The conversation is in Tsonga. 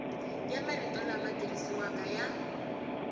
ya marito lama tirhisiwaka ya